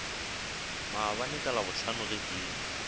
maabane ka labohlano ge ke